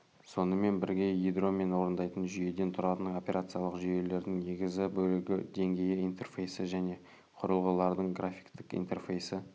сонымен бірге ядро мен орындайтын жүйеден тұратын операциялық жүйелердің негізгі бөлігі деңгейі интерфейсі және құрылғылардың графиктік интерфейсі